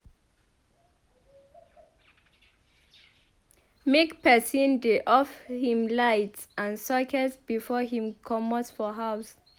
Make person dey off him lights and sockets before him comot for house